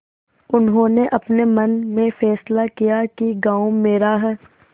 उन्होंने अपने मन में फैसला किया कि गॉँव मेरा है